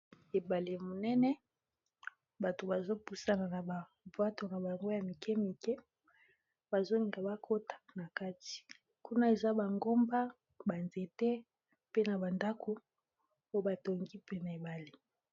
Ebale monene, bato bazopusana na ba bwato na bango ya mikemike bazolinga bakota na kati kuna eza bangomba ba nzete ,pe na ba ndako oyo batongi mpene ebale